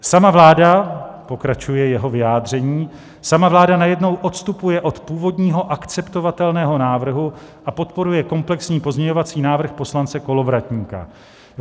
Sama vláda," pokračuje jeho vyjádření, "sama vláda najednou odstupuje od původního akceptovatelného návrhu a podporuje komplexní pozměňovací návrh poslance Kolovratníka.